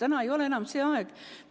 Täna ei ole enam see aeg.